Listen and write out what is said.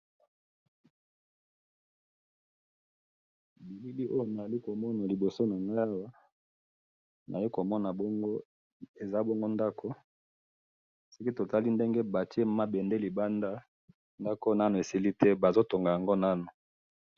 bilili oyo nazali ko mona liboso na ngai awa, nazali ko mona bongo ,eza bongo ndaku ,soki totali ndenge batie mabende libanda ndaku oyo nanu esili te bazo tonga yango nanu